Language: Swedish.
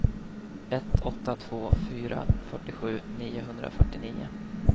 ett åtta två fyra fyrtiosju niohundrafyrtionio